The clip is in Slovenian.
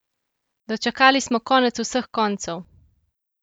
Dočakali smo konec vseh koncev!